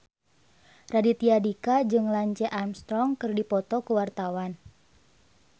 Raditya Dika jeung Lance Armstrong keur dipoto ku wartawan